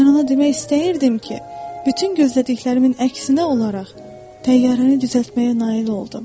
Mən ona demək istəyirdim ki, bütün gözlədiklərimin əksinə olaraq, təyyarəni düzəltməyə nail oldum.